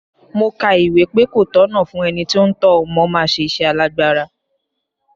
Mo ka ìwé pé ko tọ̀nà fún ẹni tí ó ń tọ́ ọmọ máa ṣe iṣẹ́ alágbára.